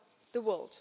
the world.